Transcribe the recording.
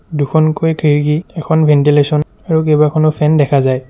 দুখনকৈ খিৰিকী এখন ভেন্টিলেচন আৰু কেইবাখনো ফেন দেখা যায়।